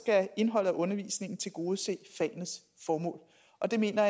at indholdet af undervisningen skal tilgodese fagenes formål og det mener